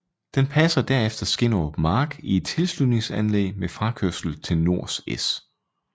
Den passerer derefter Skinnerup Mark i et tilsluningsanlæg med frakørsel til Nors S